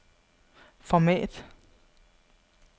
format